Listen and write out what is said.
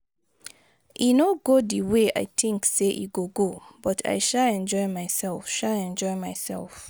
E no go the way I think say e go go but I sha enjoy myself sha enjoy myself